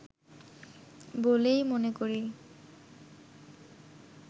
বলেই মনে করি